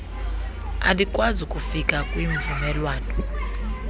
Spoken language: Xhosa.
alikwazi kufika kwimvumelwano